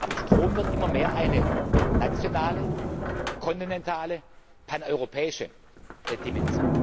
aber Strom wird immer mehr eine nationale, kontinentale, paneuropäische Dimension.